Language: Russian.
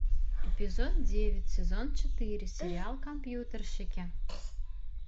эпизод девять сезон четыре сериал компьютерщики